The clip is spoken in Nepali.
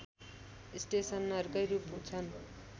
स्टेसनहरूकै रूप छन्